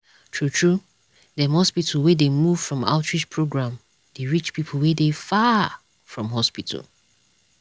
true true dem hospital wey dey move from outreach program dey reach people wey dey far from hospital.